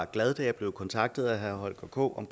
glad da jeg blev kontaktet af herre holger k